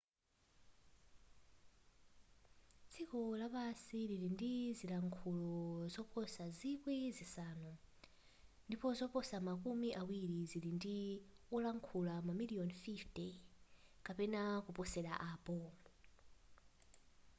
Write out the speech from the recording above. dziko lapansi lili ndi zilankhulo zoposa zikwi zisanu ndipo zoposa makumi awiri zili ndi olankhula mamiliyoni 50 kapena kuposela apo